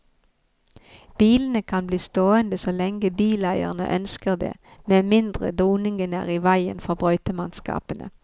Bilene kan bli stående så lenge bileierne ønsker det, med mindre doningene er i veien for brøytemannskapene.